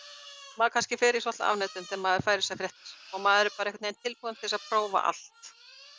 maður kannski fer í svolitla afneitun þegar maður fær þessar fréttir og maður er einhvern veginn tilbúinn til að prófa allt